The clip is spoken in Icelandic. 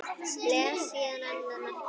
Blés aðeins á annað markið.